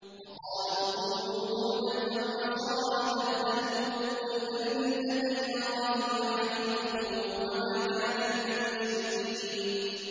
وَقَالُوا كُونُوا هُودًا أَوْ نَصَارَىٰ تَهْتَدُوا ۗ قُلْ بَلْ مِلَّةَ إِبْرَاهِيمَ حَنِيفًا ۖ وَمَا كَانَ مِنَ الْمُشْرِكِينَ